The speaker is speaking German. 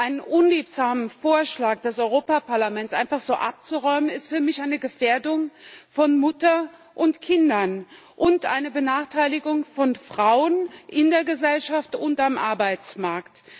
Einen unliebsamen Vorschlag des Europäischen Parlaments einfach so abzuräumen, ist für mich eine Gefährdung von Müttern und Kindern und eine Benachteiligung von Frauen in der Gesellschaft und am Arbeitsmarkt.